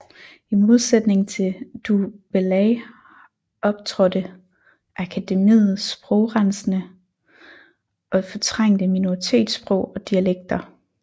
I modsætning til du Bellay optrådte akademiet sprogrensende og fortrængte minoritetssprog og dialekter